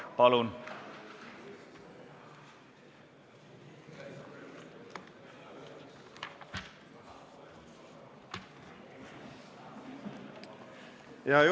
Palun!